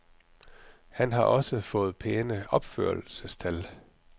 Han har også fået pæne opførelsestal.